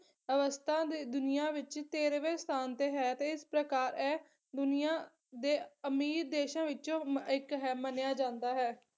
ਅਵਸਥਾ ਦੇ ਦੁਨੀਆਂ ਵਿੱਚ ਤੇਰਵੇਂ ਸਥਾਨ ਤੇ ਹੈ ਤੇ ਇਸ ਪ੍ਰਕਾਰ ਐ ਦੁਨੀਆਂ ਦੇ ਅਮੀਰ ਦੇਸ਼ਾਂ ਵਿੱਚੋ ਇੱਕ ਹੈ ਮੰਨਿਆ ਜਾਂਦਾ ਹੈ।